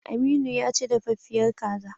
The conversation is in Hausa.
Aminu ya ci daffiyar kaza.